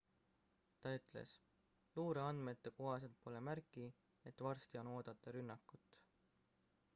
ta ütles luureandmete kohaselt pole märki et varsti on oodata rünnakut